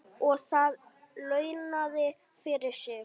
Og það launaði fyrir sig.